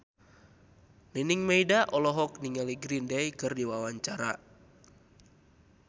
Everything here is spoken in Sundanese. Nining Meida olohok ningali Green Day keur diwawancara